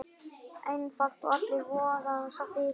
Einfalt og allir voða sáttir!